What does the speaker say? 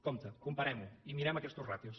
compte comparem ho i mirem aquestes ràtios